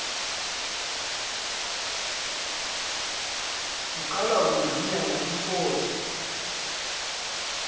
siqala ukungqinela inkosi